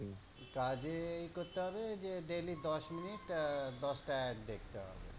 কাজে এ করতে হবে daily দশ মিনিট আহ দশটা ad দেখতে হবে।